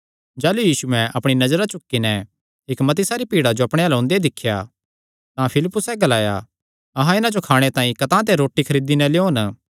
जाह़लू यीशुयैं अपणी नजरा चुक्की नैं इक्क मती सारी भीड़ा जो अपणे अल्ल ओंदे दिख्या तां फिलिप्पुसैं ग्लाया अहां इन्हां जो खाणे तांई कतांह ते रोटी खरीदी नैं लेयोन